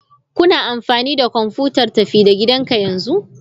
Kuna amfani da kwamfutar tafi-da-gidanka yanzu?